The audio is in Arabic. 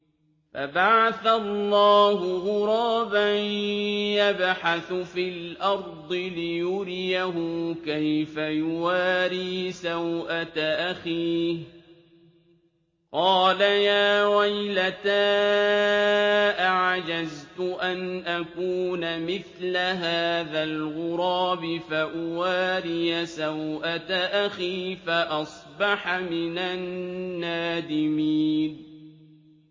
فَبَعَثَ اللَّهُ غُرَابًا يَبْحَثُ فِي الْأَرْضِ لِيُرِيَهُ كَيْفَ يُوَارِي سَوْءَةَ أَخِيهِ ۚ قَالَ يَا وَيْلَتَا أَعَجَزْتُ أَنْ أَكُونَ مِثْلَ هَٰذَا الْغُرَابِ فَأُوَارِيَ سَوْءَةَ أَخِي ۖ فَأَصْبَحَ مِنَ النَّادِمِينَ